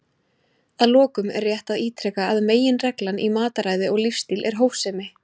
Að lokum er rétt að ítreka að meginreglan í mataræði og lífsstíl er hófsemi.